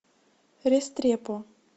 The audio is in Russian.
рестрепо